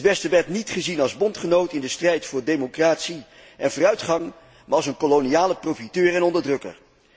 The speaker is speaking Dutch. Het Westen werd niet gezien als bondgenoot in de strijd voor democratie en vooruitgang, maar als een koloniale profiteur en onderdrukker.